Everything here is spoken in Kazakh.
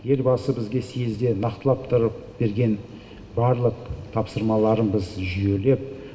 елбасы бізге съезде нақтылап тұрып берген барлық тапсырмаларын біз жүйелеп